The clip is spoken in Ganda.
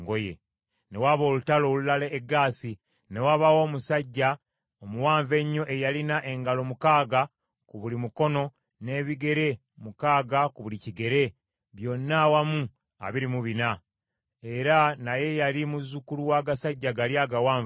Ne waba olutalo olulala e Gaasi, ne wabaayo omusajja omuwanvu ennyo eyalina engalo mukaaga ku buli mukono n’ebigere mukaaga ku buli kigere, byonna awamu abiri mu bina. Era naye yali muzzukulu w’agasajja gali agawanvu ennyo.